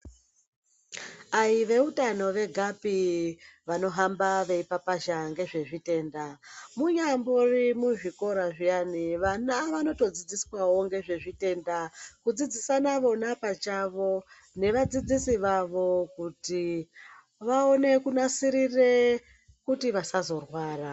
Ayi veutano vegapi vano hamba vei papazha nge zve zvitenda muri mu zvikora zviyani vana vanoto dzidziswawo nezve zvitenda kudzidzisana vona pachawo ne vadzidzisi vavo kuti vaone kunasirire kuti vasazo rwara.